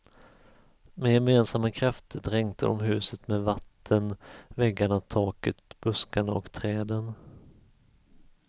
Med gemensamma krafter dränkte de huset med vatten, väggarna, taket, buskarna och träden.